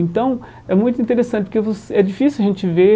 Então, é muito interessante porque você é difícil a gente ver